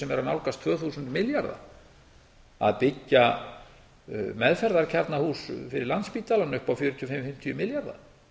að nálgast tvö þúsund milljarða að byggja meðferðarkjarnahús fyrir landspítalann upp á fjögur þúsund fimm hundruð og fimmtíu milljarða